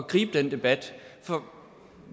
som